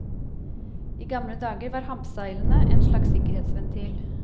I gamle dager var hampseilene en slags sikkerhetsventil.